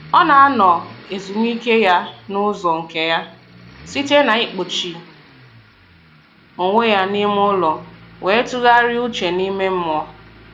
Ọ na-anọ ezumike ya n'ụzọ nke ya, site na-ịkpọchi onwe ya n'ime ụlọ wee tụgharịa uche n'ihe mmụọ